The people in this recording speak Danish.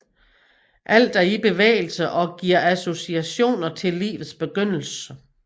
Alt er i bevægelse og giver associationer til livets begyndelse